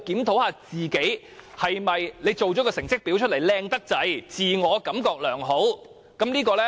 是否做出來的成績表太漂亮，自我感覺良好呢？